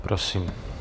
Prosím.